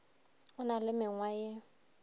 o na le mengwa ye